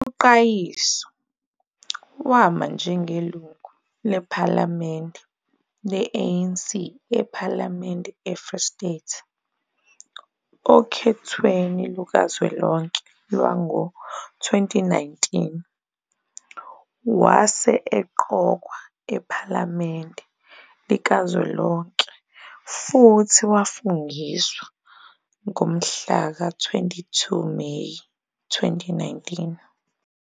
UQayiso wama njengelungu lephalamende le-ANC ePhalamende eFree State okhethweni lukazwelonke lwango -2019, wase eqokwa ePhalamende Likazwelonke futhi wafungiswa ngomhlaka 22 Meyi 2019.